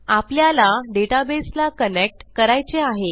आपल्याला डेटाबेसला कनेक्ट करायचे आहे